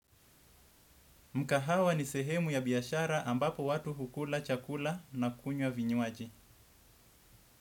Mkahawa ni sehemu ya biashara ambapo watu hukula chakula na kunywa vinywaji.